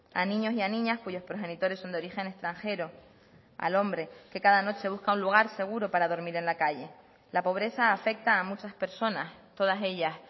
a niños y a niñas cuyos progenitores son de origen extranjero al hombre que cada noche busca un lugar seguro para dormir en la calle la pobreza afecta a muchas personas todas ellas